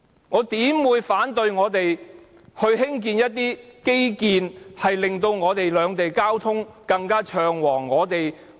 我怎會反對我們興建一些令兩地交通更暢旺的基建？